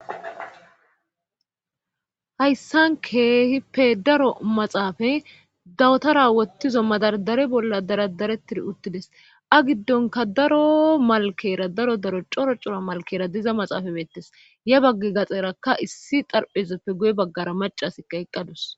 Hayssan keehippe daro maxaafa dawutara wottizo madardare bolla daradarettir uttides a giddonka daro malkera daro daro coro cora malkera diza maxaafa beettes ya bagge gaxerakka issi xarphezeppe guye baggara macasikka eqqadus